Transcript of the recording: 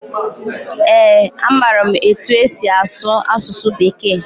Ee, amaara m etu esi asụ asụsụ Bekee.